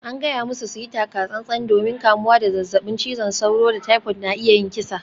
An gaya musu su yi taka-tsan-tsan domin kamuwa da zazzabin cizon sauro da typhoid na iya yin kisa.